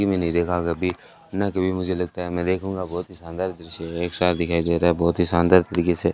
जिंदगी में नहीं देखा कभी न कभी मुझे लगता है मैं देखूंगा बहुत शानदार दृश्य है एक साथ दिखाई दे रहा है बहुत ही शानदार तरीके से।